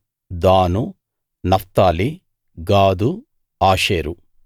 దాను నఫ్తాలి గాదు ఆషేరు